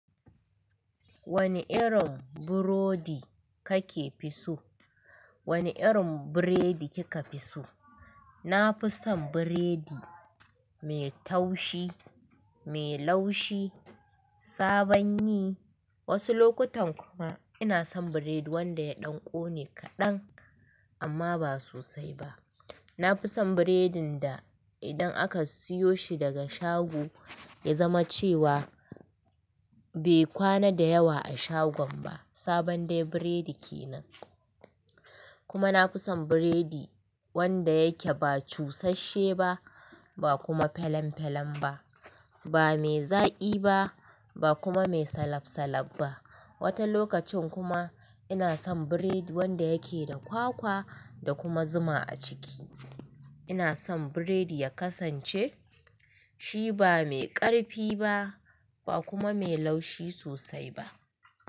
Wane irin burodi kake fi so? Wane irin biredi kika fi so? Na fi son biredi mai taushi, mai laushi, sabon yi. Wasu lokutan kuma ina son biredi wanda ya ɗan ƙone kaɗan amma ba sosai ba. Na fi son biredin da idan aka siyo shi daga shago ya zama cewa bai kwana da yawa a shagon ba, sabon dai biredi kenan. Kuma na fi son biredi wanda yake ba cusashe ba, ba kuma phelan phelan ba, ba mai zaƙi ba, ba kuma mai salab salab ba. Wata lokacin kuma ina son biredi wanda yake da kwakwa da kuma zuma a ciki. Ina son biredi ya kasance shi ba mai ƙarfi ba, ba kuma mai laushi sosai ba.